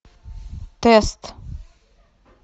тест